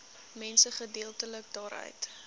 mense geldelik daaruit